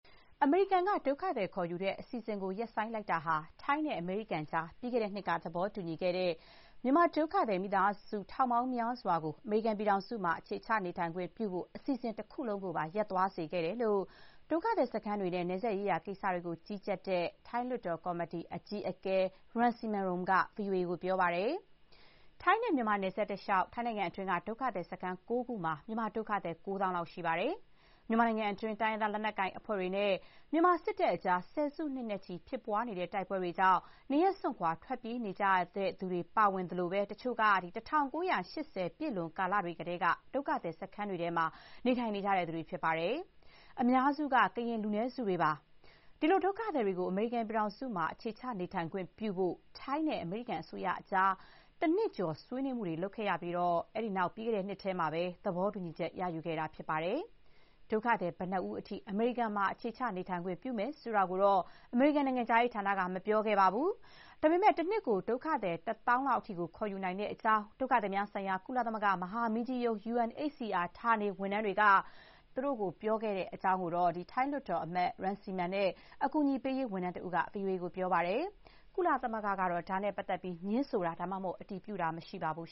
အမေရိကန်က ဒုက္ခသည်ခေါ်ယူတဲ့ အစီအစဉ်ကို ရပ်ဆိုင်းလိုက်တာဟာ ထိုင်းနဲ့ အမေရိကန်ကြား ပြီးခဲ့တဲ့နှစ်က သဘောတူညီခဲ့တဲ့ မြန်မာ ဒုက္ခသည်မိသားစုတွေ ထောင်ပေါင်းများစွာ အမေရိကန်ပြည်ထောင်စုမှာ အခြေချနေထိုင်ခွင့် ပြုဖို့ အစီအစဉ် တခုလုံးကိုပါ ရပ်သွားစေခဲ့တယ်လို့ ဒုက္ခသည်စခန်းတွေနဲ့ နယ်စပ်ရေးရာ ကိစ္စတွေကို ကြီးကြပ်တဲ့ ထိုင်းလွှတ်တော် ကော်မတီ အကြီးအကဲ Rangsiman Rome က ဗွီအိုအေကို ပြောပါတယ်။ ထိုင်းနဲ့မြန်မာ နယ်စပ်တလျှောက် ထိုင်းနိုင်ငံတွင်းက ဒုက္ခသည်စခန်း ၉ ခုမှာ မြန်မာဒုက္ခသည် ၉ သောင်းလောက် ရှိပါတယ်။ မြန်မာနိုင်ငံတွင်း တိုင်းရင်းသား လက်နက်ကိုင် အဖွဲ့တွေနဲ့ မြန်မာစစ်တပ်ကြား ဆယ်စုနှစ်နဲ့ချီ ဖြစ်ပွားနေတဲ့ တိုက်ပွဲတွေကြောင့် နေရပ်စွန့်ခွာ ထွက်ပြေးခဲ့ကြရသူတွေ ပါဝင်သလို၊ တချို့က ၁၉၈၀ ပြည့်လွန်ကာလတွေ ကတည်းက ဒုက္ခသည်စခန်းတွေ ထဲမှာ နေထိုင်နေကြသူတွေ ဖြစ်ပါတယ်။ အများစုက ကရင်လူနည်းစုတွေပါ။ ဒီလို ဒုက္ခသည်တွေကို အမေရိကန်မှာ အခြေချ နေထိုင်ခွင့် ပြုဖို့ ထိုင်းနဲ့ အမေရိကန် အစိုးရကြား တနှစ်ကျော် ဆွေးနွေးမှုတွေ လုပ်ခဲ့ရပြီး အဲ့ဒီနောက် ပြီးခဲ့တဲ့ နှစ်ထဲမှာ သဘောတူညီချက် ရယူခဲ့တာ ဖြစ်ပါတယ်။ ဒုက္ခသည် ဘယ်နှစ်ဦးအထိ အမေရိကန်မှာ အခြေချ နေထိုင်ခွင့် ပြုယူမယ်ဆိုတာကိုတော့ အမေရိကန်နိုင်ငံခြားရေး ဌာနက မပြောခဲ့ပါဘူး။ ဒါပေမဲ့ တနှစ်ကို ဒုက္ခသည် ၁ သောင်းအထိ ခေါ်ယူနိုင်တဲ့အကြောင်း ဒုက္ခသည်များဆိုင်ရာ ကုလသမဂ္ဂ မဟာမင်းကြီးရုံး UNHCR ဌာနဝန်ထမ်းတွေက သူတို့ကို ပြောပြခဲ့တဲ့ အကြောင်း ကော်မတီ အကြီးအကဲ ထိုင်းလွှတ်တော်အမတ် Rangsiman နဲ့ အကူအညီပေးရေး ဝန်ထမ်း တဦးက ဗွီအိုအေကို ပြောပါတယ်။ ကုလသမဂ္ဂ ကတော့ ဒါနဲ့ပတ်သက်ပြီး ငြင်းဆိုတာ၊ အတည်ပြုတာ မရှိပါဘူး